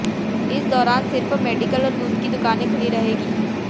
इस दौरान सिर्फ मेडिकल और दूध की दुकानें खुली रहेंगी